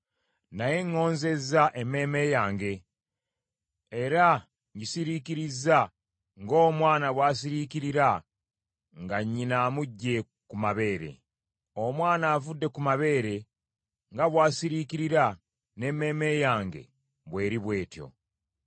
Naye ŋŋonzezza emmeeme yange era ngisiriikirizza ng’omwana bw’asiriikirira nga nnyina amuggye ku mabeere. Omwana avudde ku mabeere nga bw’asiriikirira, n’emmeeme yange bw’eri bw’etyo.